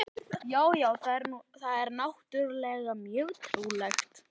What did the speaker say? Já, já, það er náttúrlega mjög trúlegt.